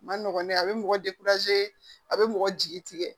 Ma nɔgɔn ne a bɛ mɔgɔ a bɛ mɔgɔ jigi tigɛ